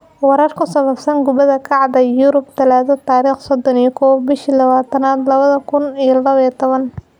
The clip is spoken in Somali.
Warar ku saabsan Kubada Cagta Yurub Talaado tarikh sodon iyo kow bishi lawayatanad lawadha kun iyo lawo iyo tawan: Abraham, Pogba, Fernandes, Henry, Drinkwater, Nketiah